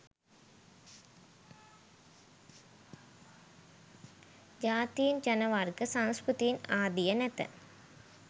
ජාතීන් ජනවර්ග සංස්කෘතීන් ආදිය නැත.